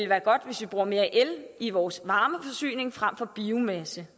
være godt hvis vi bruger mere el i vores varmeforsyning frem for biomasse